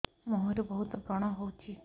ମୁଁହରେ ବହୁତ ବ୍ରଣ ହଉଛି